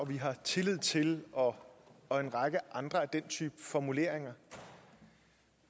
vi har tillid til og og en række andre af den type formuleringer